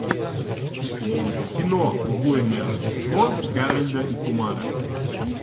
кино убойное рождество гарольда и кумара